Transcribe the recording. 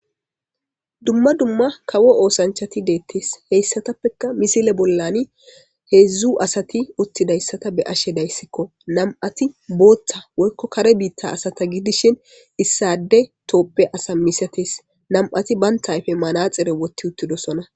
dumma dumma kawo oosanchati deettes heyssatappekka misile bollani heedzdzu asati uttidayssata be'ashe dayssikko nam7ati booththa woykko kare biitta asata gidishin issade tooppe asa misates nam'ati banta ayfe manaxire wotti uttidosona